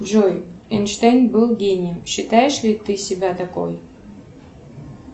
джой эйнштейн был гением считаешь ли ты себя такой